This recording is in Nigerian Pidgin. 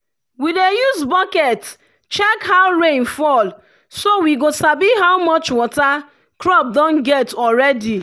we dey use bucket check how rain fall so we go sabi how much water crop don get already.